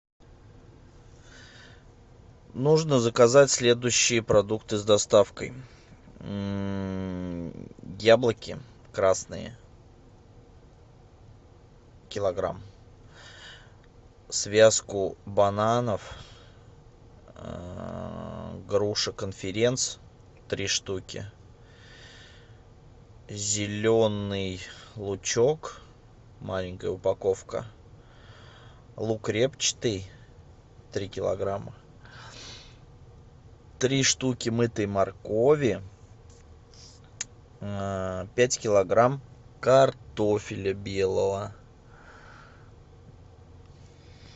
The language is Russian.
нужно заказать следующие продукты с доставкой яблоки красные килограмм связку бананов груши конференц три штуки зеленый лучок маленькая упаковка лук репчатый три килограмма три штуки мытой моркови пять килограмм картофеля белого